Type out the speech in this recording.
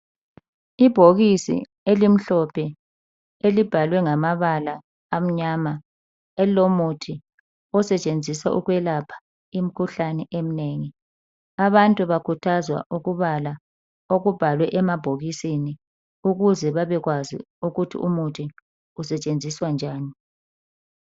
Ibhokisi elimhlophe elibhalwe ngamabala amnyama, elilomuthi osetshenziswa ukwelapha imkhuhlane eminengi. Abantu bakhuthazwa ukubala okubhalwe emabhokisini ukuze babekwazi ukuthi umuthi isetshenziswa njani.